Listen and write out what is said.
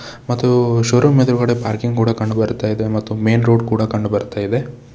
ಮತ್ತು ಶೋರೂಮ್ ಎದ್ರುಗಡೆ ಪಾರ್ಕಿಂಗ್ ಕೂಡ ಕಂಡು ಬರ್ತಾಯಿದೆ ಮತ್ತು ಮೇನ್ ರೋಡ್ ಕೂಡ ಕಂಡು ಬರ್ತಯಿದೆ.